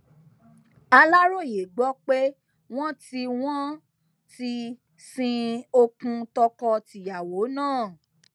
aláròye gbọ pé wọn ti wọn ti sin okùn tọkọ tìyàwó náà